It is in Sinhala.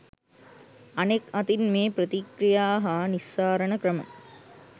අනෙක් අතින් මේ ප්‍රතික්‍රියා හා නිස්සාරණ ක්‍රම